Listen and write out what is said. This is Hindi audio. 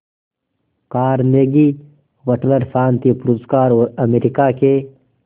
कार्नेगी वटलर शांति पुरस्कार और अमेरिका के